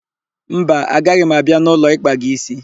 Mba, agaghị m abịa n'ụlọ ịkpa gị ísí.